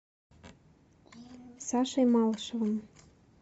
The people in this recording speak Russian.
сашей малышевым